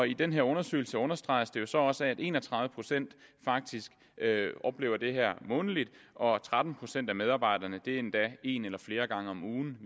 i den her undersøgelse understreges det jo så også af at en og tredive procent faktisk oplever det månedligt og tretten procent af medarbejderne endda en eller flere gange om ugen